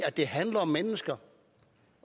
at det handler om mennesker